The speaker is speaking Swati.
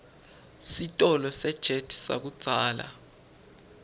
sitolo sejet sakudzala